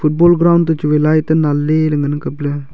football ground toh chu wai light ei lan le ley ngan kap ley.